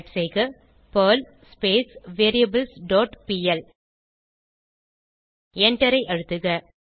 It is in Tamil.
டைப் செய்க பெர்ல் வேரியபிள்ஸ் டாட் பிஎல் எண்டரை அழுத்துக